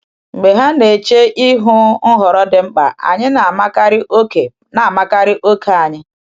Mgbe ha na-eche ihu nhọrọ dị mkpa, anyị na-amakarị oke na-amakarị oke anyị.